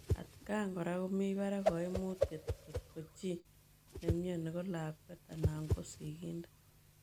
Atkaang koraa komii paraak kaimutiet ngotkoo chii nemionii ko lakweet anan ko sigindet.